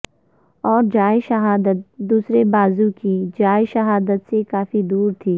اور جائے شہادت دوسرے بازو کی جائے شہادت سے کافی دور تھی